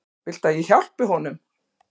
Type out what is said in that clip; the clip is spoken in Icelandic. Viltu að ég hjálpi honum?